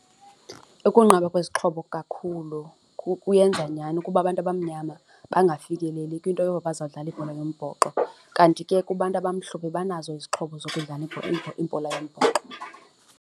Ukunqaba kwezixhobo kakhulu kuyenza nyani ukuba abantu abamnyama bengafikeleli kwinto yoba bazawudlala ibhola yombhoxo kanti ke kubantu abamhlophe banazo izixhobo zokudlala ibhola yombhoxo.